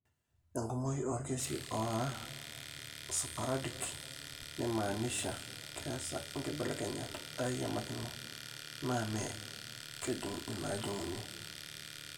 Enkumoi oorkesii oora sporadic, nemaanisha keesa inkibelekenyat airimirimokino, naa mmee inaajung'uni.